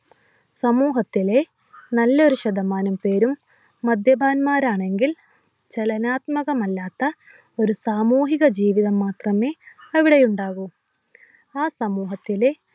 സമൂഹത്തിലെ നല്ലൊരു ശതമാനം പേരും മദ്യപാത്മാരാണെങ്കിൽ ചലനാത്മകമല്ലാത്ത ഒരു സാമൂഹിക ജീവിതം മാത്രമേ അവിടെ ഉണ്ടാകു ആ സമൂഹത്തിലെ